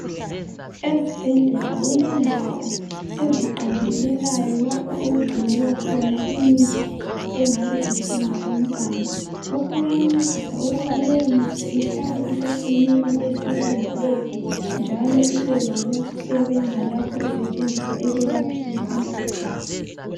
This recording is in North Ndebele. Ezibhendlela kulendawo eziqandelelayo lapho okugcinelwa khona imithi engabe idinga umqando. Lokhu kuyancedisa ukuba leyomithi ihlale isesimeni esilungileyo njalo ibe lokusebenza lapho isetshenziswa ekwelapheni imkhuhlane